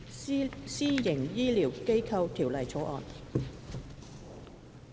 《私營醫療機構條例草案》。